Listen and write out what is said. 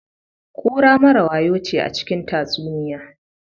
Kura mara wayo ce a cikin tatsuniya.